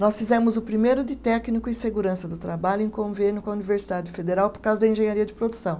Nós fizemos o primeiro de técnico em segurança do trabalho em convênio com a Universidade Federal por causa da engenharia de produção.